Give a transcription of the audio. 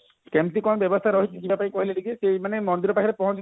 କେମତି କଣ ବ୍ୟବସ୍ଥା ରହିଛି ଯିବା ପାଇଁ କହିଲେ ଟିକେ ସେ ମାନେ ମନ୍ଦିର ପାଖରେ ପହଞ୍ଚିଲେ